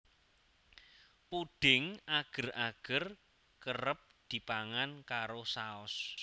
Pudhing ager ager kerep dipangan karo saos